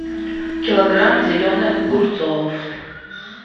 килограмм зеленых огурцов